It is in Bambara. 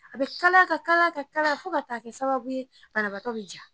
A be kalaya ka kalaya ka kalaya fo ka taa kɛ sababu ye banabatɔ be jigin.